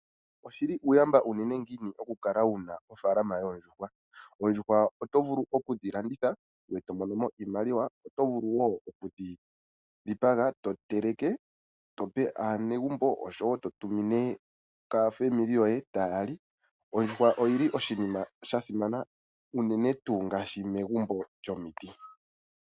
Oshi li uuyamba uunene ngiini okukala wu na ofaalama yoondjuhwa?.Dho oto vulu oku dhi landitha eto mono mo iimaliwa, ngoye oto vulu wo oku dhi dhipaga noku dhi teleka opo wu kuthe po omukaga kaanegumbo naakwanezimo lyoye. Megumbo lyomiti, oondjuhwa odho esimano enene.